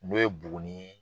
N'o ye Buguni ye.